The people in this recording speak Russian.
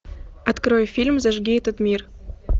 открой фильм зажги этот мир